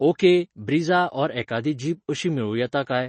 Okay, Brezza or एकादी jeep अशी मेळूं येता काय?